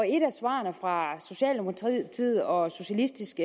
et af svarene fra socialdemokratiet og socialistisk